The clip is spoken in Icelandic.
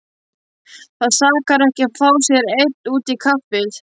Það sakar ekki að fá sér einn út í kaffið.